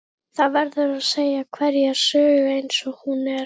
Það verður að segja hverja sögu eins og hún er.